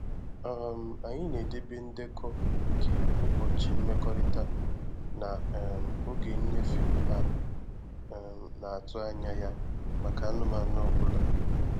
um Anyị na-edebe ndekọ nke ụbọchị mmekọrịta na um oge nnyefe a um na-atụ anya ya maka anụmanụ ọ bụla